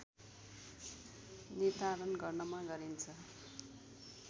निर्धारण गर्नमा गरिन्छ